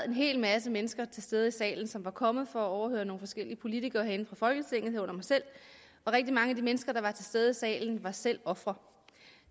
en hel masse mennesker til stede i salen som var kommet for at høre nogle forskellige politikere herinde fra folketinget herunder mig selv og rigtig mange af de mennesker der var til stede i salen var selv ofre